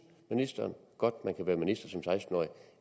ministeren godt at man kan være minister som seksten årig